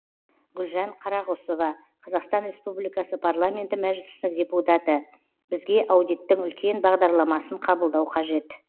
гүлжан қарағұсова қазақстан республикасы парламенті мәжілісінің депутаты бізге аудиттің үлкен бағдарламасын қабылдау қажет